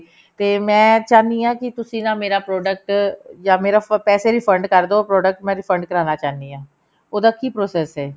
ਤੇ ਮੈਂ ਚਾਹਨੀ ਹਾਂ ਕਿ ਤੁਸੀਂ ਨਾ ਮੇਰਾ product ਜਾਂ ਮੇਰੇ ਪੈਸੇ refund ਕਰ ਦੋ product ਮੈਂ refund ਕਰਵਾਨਾ ਚਾਹੁੰਦੀ ਹਾਂ ਉਹਦਾ ਕਿ process ਐ